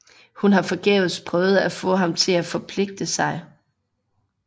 Hun har forgæves prøvet at få ham til at forpligte sig